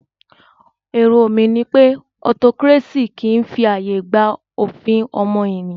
Èrò mí ní wípé autocracy kìí fi ààyè gba òfin ọmọnìyàn.